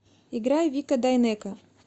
играй вика дайнеко